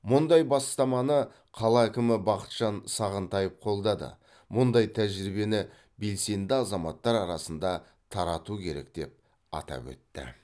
мұндай бастаманы қала әкімі бақытжан сағынтаев қолдады мұндай тәжірибені белсенді азаматтар арасында тарату керек деп атап өтті